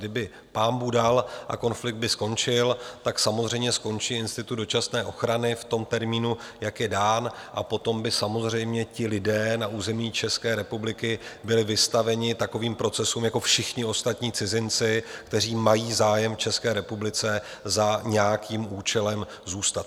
Kdyby pánbůh dal a konflikt by skončil, tak samozřejmě skončí institut dočasné ochrany v tom termínu, jak je dán, a potom by samozřejmě ti lidé na území České republiky byli vystaveni takovým procesům jako všichni ostatní cizinci, kteří mají zájem v České republice za nějakým účelem zůstat.